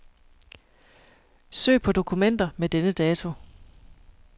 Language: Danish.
Søg på dokumenter med denne dato.